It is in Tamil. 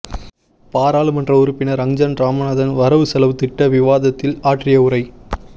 பாராளுமன்ற உறுப்பினர் அங்கஜன் இராமநாதன் வரவு செலவு திட்ட விவாதத்தில் ஆற்றிய உரை